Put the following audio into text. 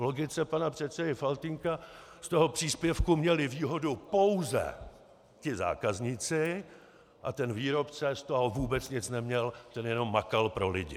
V logice pana předsedy Faltýnka z toho příspěvku měli výhodu pouze ti zákazníci a ten výrobce z toho vůbec nic neměl, ten jenom makal pro lidi.